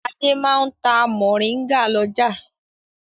Adé máa ń ta mòríngà lọ́jà.